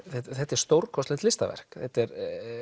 þetta er stórkostlegt listaverk þetta er